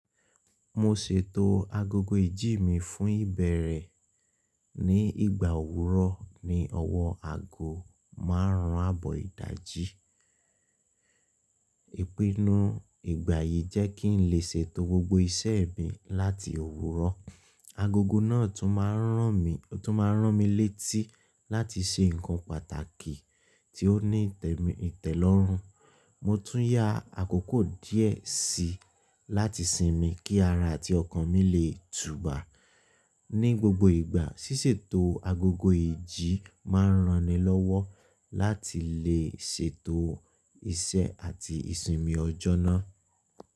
Mo ṣètò agogo ìjí mi fún ìbẹ̀rẹ̀ ní ìgbà òwúrọ̀ ní ọwọ́ àgó márùn-ún àbọ̀ ìdajì. Ìpinnu ìgbà yìí jẹ́ kí n lè ṣètò gbogbo iṣẹ́ mi láti òwúrọ̀. Agogo náà tún máa ń ràn mí létí láti ṣe nǹkan pàtàkì tí ó ní ìtẹ̀lọ́rùn. Mo tún yá àkókò díẹ̀ sí i láti sinmi kí ara àti ọkàn mi lè tùbà ní gbogbo ìgbà. Sísètò agogo ìjí máa ń rani lọ́wọ́ láti lè ṣètò iṣẹ́ àti ìsinmi ọjọ́ náà.